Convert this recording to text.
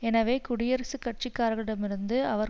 எனவே குடியரசுக் கட்சிக்காரர்களிடமிருந்து அவர்